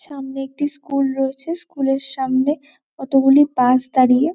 সামনে একটি স্কুল রয়েছে। স্কুল -এর সামনে কতগুলি বাস দাঁড়িয়ে।